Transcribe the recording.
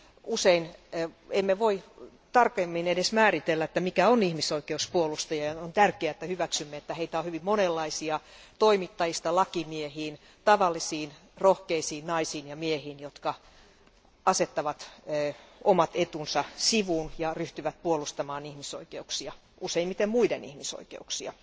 Usein emme voi tarkemmin edes määritellä, mikä on ihmisoikeuspuolustaja, ja on tärkeää, että hyväksymme, että heitä on hyvin monenlaisia toimittajista lakimiehiin, tavallisiin rohkeisiin naisiin ja miehiin, jotka asettavat omat etunsa sivuun ja ryhtyvät puolustamaan ihmisoikeuksia useimmiten muiden ihmisoikeuksia.